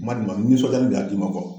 N ma d'i ma n nisɔndiyalen de y'a d'i ma kuwa